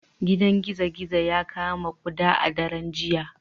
Gidan gizo-gizo ya kama kuda a daren jiya